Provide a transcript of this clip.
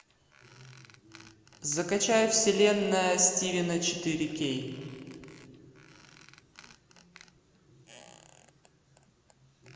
закачай вселенная стивена четыре кей